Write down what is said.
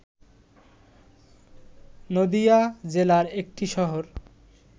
নদীয়া জেলার একটি শহর